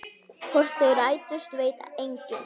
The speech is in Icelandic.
Hvort þau rættust veit enginn.